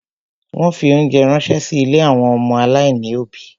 Wọ́n fi óńjẹ ránṣẹ́ sí ilé àwọn ọmọ aláìní òbí.